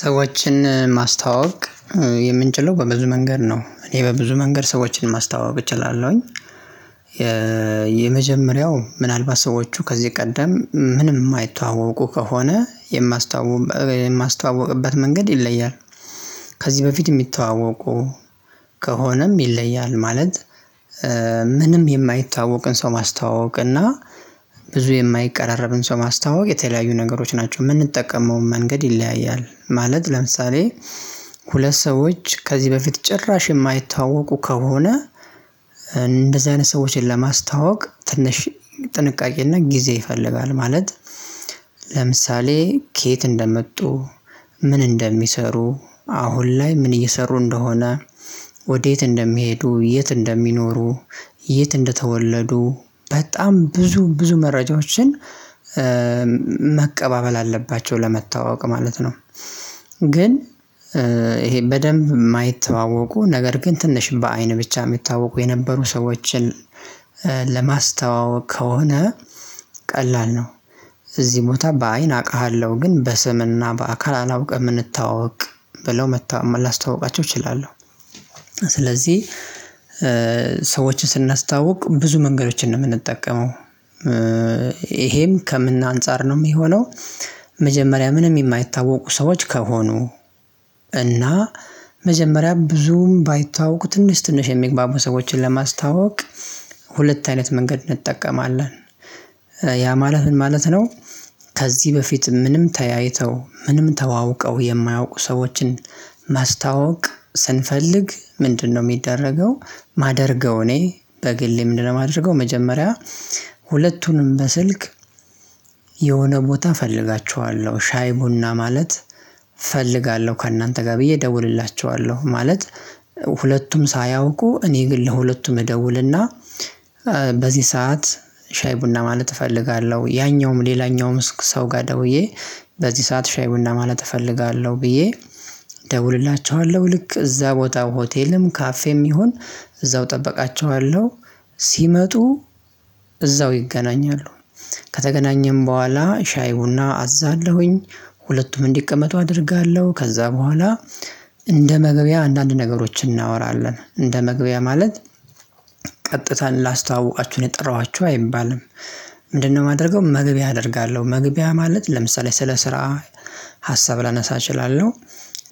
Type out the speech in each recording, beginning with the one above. ሰዎችን ማስተዋወቅ የምንችለው በብዙ መንገድ ነው። እኔ በብዙ መንገድ ሰዎችን ማስተዋወቅ እችላለሁኝ። የ የመጀመሪያው ምናልባት ሰዎቹ ከዚህ ቀደም ምንም የማይተዋወቁ ከሆነ የማስተዋወቅበት መንገድ ይለያል። ከዚህ በፊት የሚተዋወቁ ከሆነም ይለያል። ማለት ምንም የማይታወቅን ሰው ማስተዋወቅ እና ብዙ የማይቀራረብን ሰው ማስታወቅ የተለያዩ ነገሮች ናቸው የምንጠቀመውን መንገድ ይለያያል ማለት። ለምሳሌ ሁለት ሰዎች ከዚህ በፊት ጭራሽ የማይታዋዋቁ ከሆነ እንደዚህ አይነት ሰዎችን ለማስታወቅ ትንሽ ጥንቃቄና ጊዜ ይፈልጋል። ማለት ለምሳሌ ከየት እንደመጡ ምን እንደሚሰሩ አሁን ላይ ምን እየሰሩ እንደሆነ ወዴት እንደሚሄዱ የት እንደሚኖሩ የት እንደተወለዱ በጣም ብዙ ብዙ መረጃዎችን መቀባበል አለባቸው ለመታዋዋ ቅ ማለት ነው። ግን ይሄ በደንብ የማይተዋወቁ ነገር ግን ትንሽ በአይን ብቻ የሚታዋወቁ የነበሩ ሰዎችን ለማስተዋወቅ ከሆነ ቀላል ነው። እዚህ ቦታ በአይን አውቃሃለሁ ግን በስምና በአካል አላውቅም እንተዋወቅ ብለው መታወቅ መላ አስታውቃቸው እችላለሁ። ስለዚህ ሰዎችን ስናስታውቅ ብዙ መንገዶችን ነው የምንጠቀመው። ይሄም ከምን አንፃር ነው የሚሆነው። መጀመሪያ ምንም የማይታወቁ ሰዎች ከሆኑ እና መጀመሪያ ብዙም ባይታወቁ ትንሽ ትንሽ የሚግባቡ ሰዎችን ለማስታወቅ ሁለት አይነት መንገድ እንጠቀማለን። ያ ማለት ምን ማለት ነው? ከዚህ በፊት ምንም ተያይተው ምንም ተዋውቀው የማያውቁ ሰዎችን ማስታዋወቅ ስንፈልግ ምንድነው የሚደረገው? ማደርገው እኔ በግሌ ምንድነው የማደርገው? መጀመሪያ ሁለቱንም በስልክ የሆነ ቦታ እፈልጋቸዋለሁ ሻይ ቡና ማለት እፈልጋለሁ ከእናንተ ጋር ብዬ እደውልላቸኋለሁ። ማለት ሁለቱም ሳያውቁ እኔ ግን ለሁለቱም እደውልና በዚህ ሰዓት ሻይ ቡና ማለት እፈልጋለሁ ያኛውም ሌላኛውም ሰው ጋር ደውዬ በዚህ ሰዓት ሻይ ቡና ማለት እፈልጋለሁ ብዬ ደውልላቸዋለሁ ልክ እዛ ቦታ ሆቴልም ካፌም ይሁን እዛው እጠብቃቸዋለሁ። ሲመጡ እዛው ይገናኛሉ። ከተገናኘን በኋላ ሻይ ቡና አዛለሁኝ ሁለቱም እንዲቀመጡ አደርጋለሁ። ከዛ በኋላ እንደ መግቢያ አንዳንድ ነገሮችን እናወራለን እንደ መግቢያ ማለት ቀጥታ ላስታዋውቃችሁ ነው የጠራኋችሁ አይባልም። ምንድነው? ማደርገው መግቢያ አደርጋለሁ መግቢያ ማለት ለምሳሌ ስለ ስራ ሀሳብ ላነሳ እችላለሁ።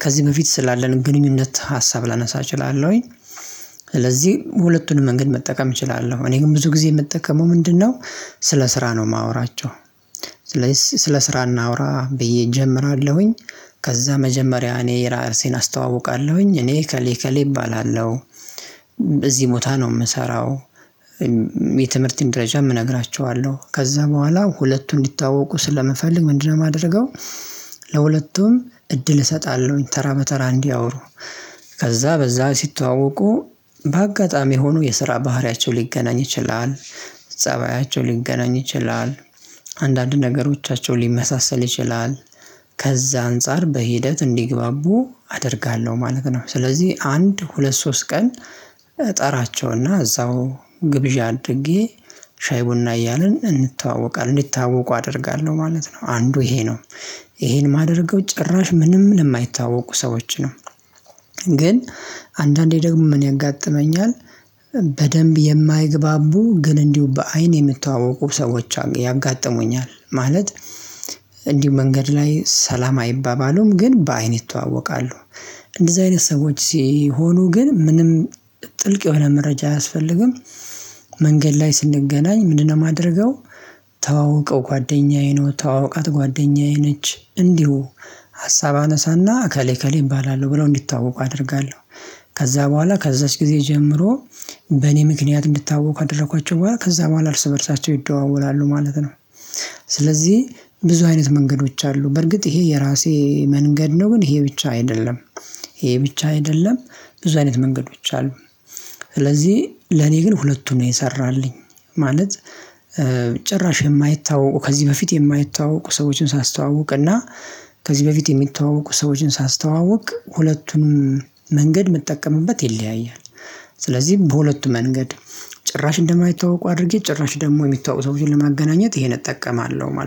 ከዚህ በፊት ስላለን ግንኙነት ሀሳብ ላነሳ እችላለሁኝ። ስለዚህ ሁለቱንም መንገድ መጠቀም እችላለሁ እኔ ግን ብዙ ጊዜ የምጠቀመው ምንድነው? ስለ ስራ ነው የማወራቸው። ስለ ስራ እናውራ ብዬ እጀምራለሁኝ። ከዛ መጀመሪያ እኔ ራሴን አስተዋውቃለሁኝ እኔ ኤከሌ ኤከሌ እባላለሁ። እዚህ ቦታ ነው የምሰራው። የትምህርትን ደረጃ የምነግራችኋለሁ ከዛ በኋላ ሁለቱን እንዲታወቁ ስለምፈልግ ምንድነው የማደርገው? ለሁለቱም እድል እሰጣለሁ ተራ በተራ እንድያወሩ ከዛ በዛ ሲተዋወቁ በአጋጣሚ ሆኖ የስራ ባህሪያቸው ሊገናኝ ይችላል። ፀባያቸው ሊገናኝ ይችላል። አንዳንድ ነገሮቻቸው ሊመሳሰል ይችላል። ከዛ አንፃር በሂደት እንዲግባቡ አደርጋለሁ ማለት ነው። ስለዚህ አንድ ሁለት ሶስት ቀን ጠራቸውና እዛው ግብዣ አድርጌ ሻይ ቡና እያልን እንተዋወቃለን እንዲታዋወቁ አደርጋለሁ ማለት ነው። አንዱ ይሄ ነው። ይሄን የማደርገው ጭራሽ ምንም ለማይታወቁ ሰዎች ነው። ግን አንዳንዴ ደግሞ ምን ያጋጥመኛል? በደንብ የማይግባቡ ግን እንዲሁ በአይን የምተዋወቁ ሰዎች ያጋጥሙኛል። ማለት እንዲሁ መንገድ ላይ ሰላም አይባባሉም ግን በአይን ይተዋወቃሉ። እንደዚህ አይነት ሰዎች ሲሆኑ ግን ምንም ጥልቅ የሆነ መረጃ አያስፈልግም። መንገድ ላይ ስንገናኝ ምንድነው የማደርገው? ተዋውቀው ጓደኛዬ ነው ተዋውቃት ጓደኛዬ ነች እንዲሁ ሀሳብ አነሳና አከሌ አከሌ እባላለሁ ብለው እንዲታወቁ አደርጋለሁ። ከዛ በኋላ ከዛች ጊዜ ጀምሮ በእኔ ምክንያት እንድታወቅ ካደረኳቸው በኋላ ከዛ በኋላ እርስ በእርሳቸው ይደዋወላሉ ማለት ነው። ስለዚህ ብዙ አይነት መንገዶች አሉ በርግጥ ይሄ የራሴ መንገድ ነው ግን ይሄ ብቻ አይደለም። ይሄ ብቻ አይደለም። ብዙ አይነት መንገዶች አሉ። ስለዚህ ለኔ ግን ሁለቱን ነው የሰራልኝ ማለት ጭራሽ የማይታወቁ ከዚህ በፊት የማይታወቁ ሰዎችን ሳስተዋውቅ እና ከዚህ በፊት የሚተዋወቁ ሰዎችን ሳስተዋውቅ ሁለቱም መንገድ መጠቀምበት ይለያያል። ስለዚህ በሁለቱ መንገድ ጭራሽ እንደማይታወቁ አድርጌ ጭራሽ ደግሞ የሚታወቁ ሰዎችን ለማገናኘት ይሄን እጠቀማለሁ ማለት ነው